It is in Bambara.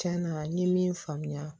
Cɛn na n ye min faamuya